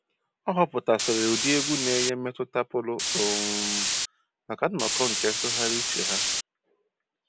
Ọ họpụtasịrị ụdị egwu na-enye mmetụta pụrụ um maka nnọkọ nke ntụgharị uche ha